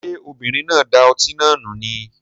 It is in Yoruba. Ṣé obìnrin náà da ọtí náà nù ni?